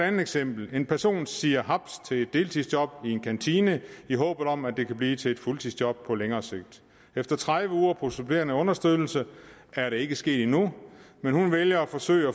andet eksempel en person siger haps til et deltidsjob i en kantine i håb om at det kan blive til et fuldtidsjob på længere sigt efter tredive uger på supplerende understøttelse er det ikke sket endnu men hun vælger at forsøge